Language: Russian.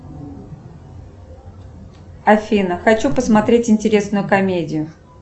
афина хочу посмотреть интересную комедию